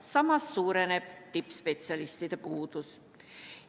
Samas suureneb tippspetsialistide puudus.